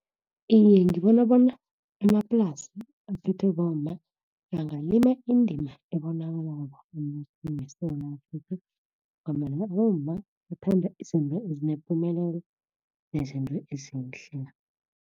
Iye, ngibona bona amaplasa aphethwe bomma, angalima indima ebonakalako emnothweni weSewula Afrika, ngombana abomma bathanda izinto ezinepumelelo nezinto ezihle.